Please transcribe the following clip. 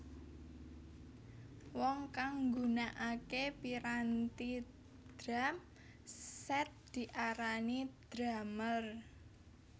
Wong kang nggunakake piranti drum set diarani drumer